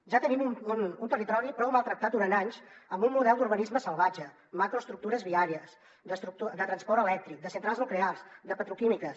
ja tenim un territori prou maltractat durant anys amb un model d’urbanisme salvatge macroestructures viàries de transport elèctric de centrals nuclears de petroquímiques